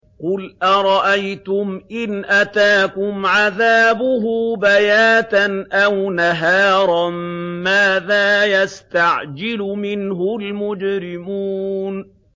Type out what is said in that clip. قُلْ أَرَأَيْتُمْ إِنْ أَتَاكُمْ عَذَابُهُ بَيَاتًا أَوْ نَهَارًا مَّاذَا يَسْتَعْجِلُ مِنْهُ الْمُجْرِمُونَ